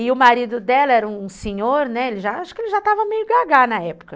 E o marido dela era um senhor, né, acho que ele já estava meio gaga na época.